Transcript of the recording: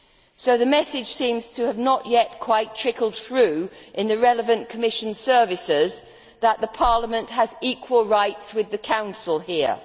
So the message seems not to have quite trickled through yet to the relevant Commission services that Parliament has equal rights with the Council here.